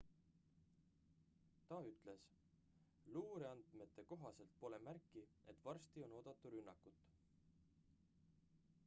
ta ütles luureandmete kohaselt pole märki et varsti on oodata rünnakut